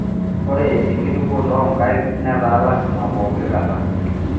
Ore enkitukuoto oo nkaik netaa lasima poooki kata.